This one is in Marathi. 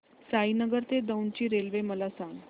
साईनगर ते दौंड ची रेल्वे मला सांग